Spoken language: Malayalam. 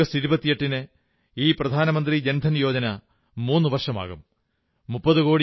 നാളെ ആഗസ്റ്റ് 28 ന് ഈ പ്രധാനമന്ത്രി ജൻധൻ യോജന മൂന്നു വർഷം തികയ്ക്കും